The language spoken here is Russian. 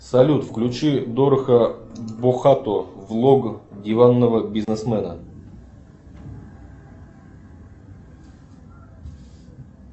салют включи дораха бохато влог диванного бизнесмена